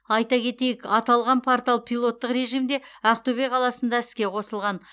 айта кетейік аталған портал пилоттық режимде ақтөбе қаласында іске қосылған